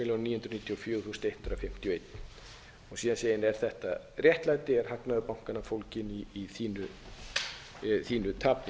fjögur þúsund hundrað fimmtíu og ein síðan segir er þetta réttlæti er hagnaður bankanna fólginn í þínu tapi